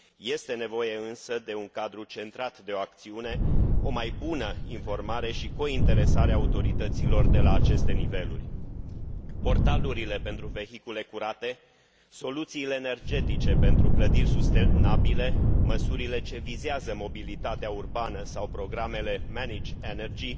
Este nevoie însă de un cadru centrat de o acțiune, o mai bună informare și cointeresare a autorităților de la aceste niveluri. Portalurile pentru vehicule curate, soluțiile energetice pentru clădiri sustenabile, măsurile ce vizează mobilitatea urbană sau programele manage energy